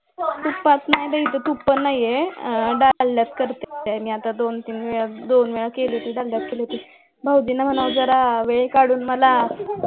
तुपात नाही बाई इथं तूप पण नाहीये आह डालड्यात करते मी आता दोन तीन वेळा केले भाऊजींना म्हणाव कि थोडं वेळ कडून मला